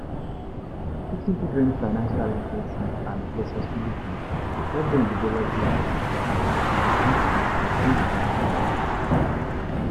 Teaching children financial literacy and responsibility dey help dem develop good financial habits and become financially independent adults.